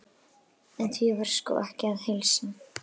En því var sko ekki að heilsa.